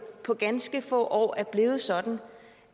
det på ganske få år er blevet sådan